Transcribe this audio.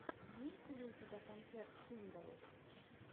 имеется ли у тебя концерт хиндалл